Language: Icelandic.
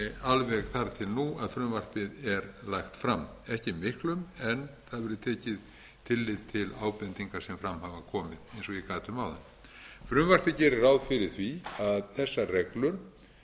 alveg þar til nú að frumvarpið er lagt fram ekki miklum en það verður tekið tillit til ábendinga sem fram hafa komið eins og ég gat um áðan frumvarpið gerir ráð fyrir því að þessar